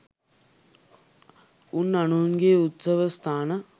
උන් අනුන්ගේ උත්සව ස්ථාන